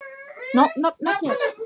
Ég ætla að skreppa heim.